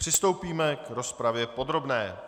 Přistoupíme k rozpravě podrobné.